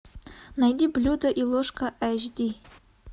найди блюдо и ложка эйч ди